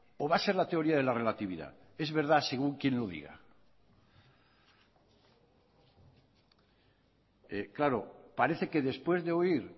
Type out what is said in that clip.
o va a ser la teoría de la relatividad es verdad según quién lo diga claro parece que después de oír